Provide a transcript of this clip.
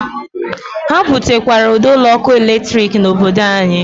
Ha butekwara ụd'ọkụ latrik n'obodo anyị.